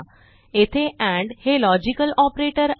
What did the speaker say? येथे ANDहे logical operator आहे